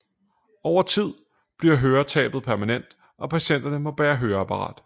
Over tid bliver høretabet permanent og patienterne må bære høreapparat